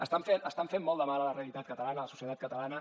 estan fent molt de mal a la realitat catalana a la societat catalana